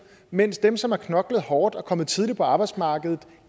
mens dem som har knoklet hårdt og er kommet tidligt på arbejdsmarkedet